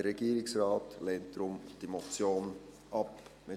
Der Regierungsrat lehnt die Motion deshalb ab.